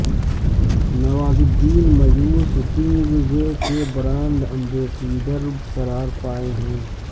Nawazuddin Mayur suitings کے brand ambassador قرار پائے ہیں